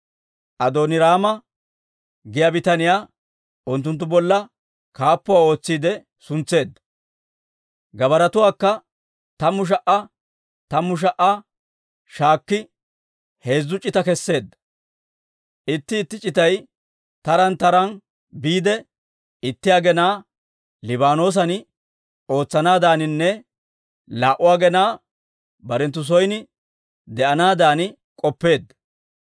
Adooniraama giyaa bitaniyaa unttunttu bolla kaappuwaa ootsiide suntseedda. Gabbaratuwaakka tammu sha"aa tammu sha"aa shaakki, heezzu c'ita keseedda; itti itti c'itay taraan taraan biide, itti aginaa Liibaanoosan ootsanaadaninne laa"u aginaa barenttu son de'anaadan k'oppeedda.